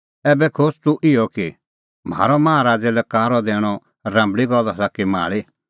ऐबै खोज़ तूह इहअ कि म्हारअ माहा राज़ै लै कारअ दैणअ राम्बल़ी गल्ल आसा कि माल़ी